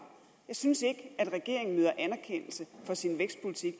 jeg synes ikke at regeringen møder anerkendelse for sin vækstpolitik